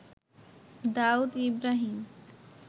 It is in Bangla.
দাউদ ইব্রাহীম